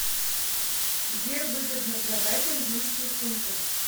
где выгодно продать английские фунты